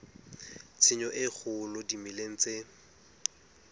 tshenyo e kgolo dimeleng tse